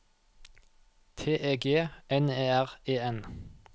T E G N E R E N